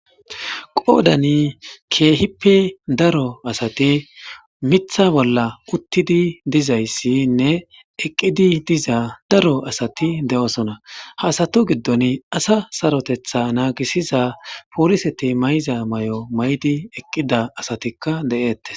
Qoodani keehippe daro asati mitha bolla uttidi dizayssinne eqqidi diza daro asati de'osona haasato giddon asa sarotetha naagisiza pooliseti mayza mayo maydi eqqida asatikka de7ette.